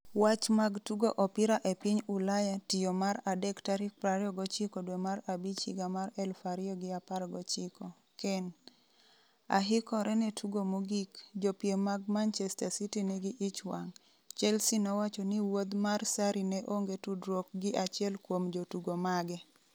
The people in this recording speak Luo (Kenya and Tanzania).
Wach mag Tugo Opira e Piny Ulaya Tiyo Mar adek tarik 29.05.2019 Kane: Ahikore ne tugo mogik "Jopiem mag Manchester City nigi ich wang'" Chelsea nowacho ni wuodh mar Sarri ne "onge tudruok gi achiel kuom jotugo mage".